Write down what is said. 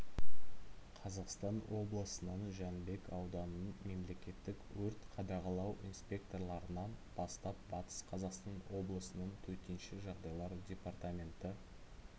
қазақстан облысының жәнібек ауданының мемлекеттік өрт қадағалау инспекторларынан бастап батыс қазақстан облысының төтенше жағдайлар департаменті